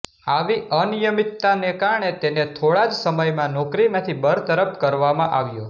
આવી અનિયમિતતાને કારણે તેને થોડા જ સમયમાં નોકરીમાંથી બરતરફ કરવામાં આવ્યો